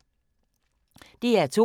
DR2